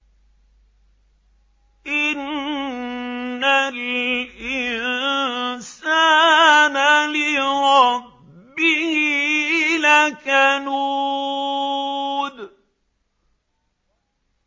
إِنَّ الْإِنسَانَ لِرَبِّهِ لَكَنُودٌ